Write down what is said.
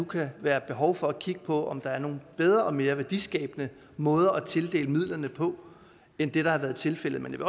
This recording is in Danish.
kan være behov for at kigge på om der er nogle bedre og mere værdiskabende måder at tildele midlerne på end det har været tilfældet men